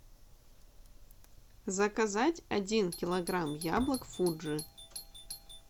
заказать один килограмм яблок фуджи